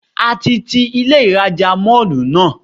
A ti ti Ilé ìrajà Mall náà.